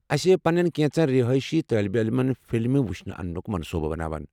اَسہِ پنٕنن کینٛژن رہٲیشی طالبہ علمَن فلمہٕ وُچھِنہِ اننُک منصوٗبہٕ بناوان۔